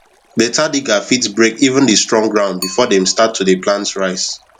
better digger fit break even the strong ground before dem start to de plant rice